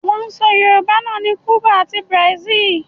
Wọ́n ń sọ Yorùbá náà ní Cùbà ati Brazil